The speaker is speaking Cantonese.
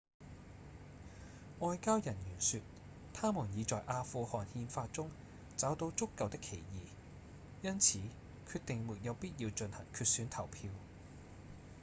外交人員說他們已在阿富汗憲法中找到足夠的歧義因此決定沒有必要進行決選投票